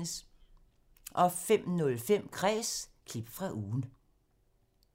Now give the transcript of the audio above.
05:05: Kræs – klip fra ugen